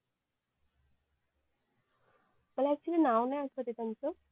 मला अक्चुल्ली नाव नाही आठवते त्यांचं